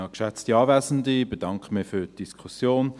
Ich bedanke mich für die Diskussion.